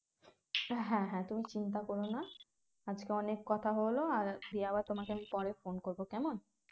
হ্যাঁ হ্যাঁ তুমি চিন্তা করো না আজকে অনেক কথা হলো আর তোমাকে আমি পরে phone করবো কেমন